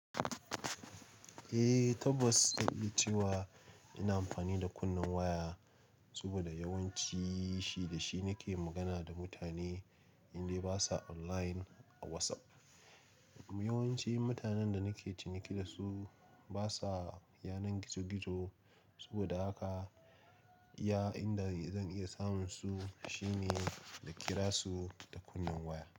Eh tabbas na iya cewa ina amfani da kunnen waya saboda yawanci shi da shi nake magana da mutane indai basa online ko WhatsApp. Yawanci mutanen da nake ciniki da su basa yanar gizo-gizo saboda haka iya inda zan iya samun su shine na kira su da kunnen waya.